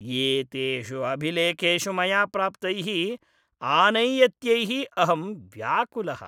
एतेषु अभिलेखेषु मया प्राप्तैः आनैयत्यैः अहं व्याकुलः।